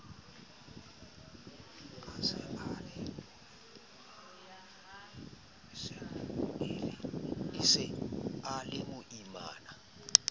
a se a le moimana